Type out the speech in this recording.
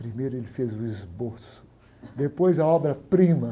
Primeiro ele fez o esboço, depois a obra-prima.